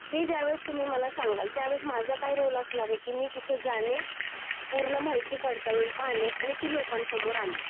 हां, हे ज्या वेळीस तुम्ही मला सांगाल त्या वेळेस माझा काय रोल असणारे कि मी तिथे जाणे, पूर्ण माहिती पडताळून पाहणे आणि ती लोकांन समोर आणणे.